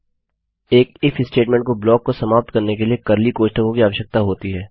एक if statement को block को समाप्त करने के लिए कर्ली कोष्ठकों की आवश्यकता होती है